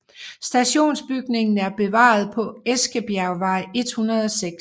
Stationsbygningen er bevaret på Eskebjergvej 106